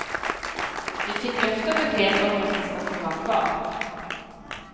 Vi fick löfte och besked om att det ska få vara kvar.